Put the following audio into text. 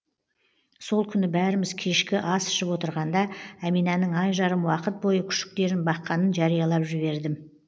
сол күні бәріміз кешкі ас ішіп отырғанда әминаның ай жарым уақыт бойы күшіктерін баққанын жариялап жібердім